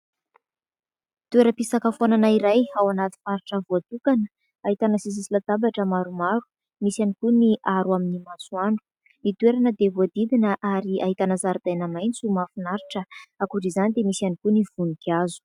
Toeram-pisakafoanana iray ao anaty faritra voatokana ahitana seza sy latabatra maromaro, misy ihany koa ny aro amin'ny masoandro. Ny toerana dia voadidina ary ahitana zaridaina maitso mahafinaritra. Ankoatra izany dia misy ihany koa ny voninkazo.